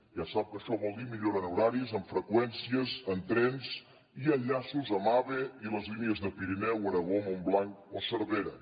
ja sap que això vol dir millora en horaris en freqüències en trens i enllaços amb ave i les línies de pirineu aragó montblanc o cervera